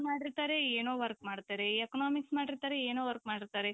ಮಾಡಿರ್ತಾರೆ ಏನೋ work ಮಾಡ್ತಾರೆ. Economics ಮಾಡಿರ್ತಾರೆ ಏನೋ work ಮಾಡ್ತಾರೆ.